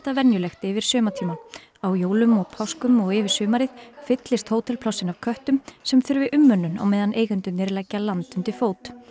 venjulegt yfir sumartímann á jólum og páskum og yfir sumarið fyllist hótelplássin af köttum sem þurfi umönnun á meðan eigendurnir leggja land undir fót